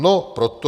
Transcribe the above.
No proto...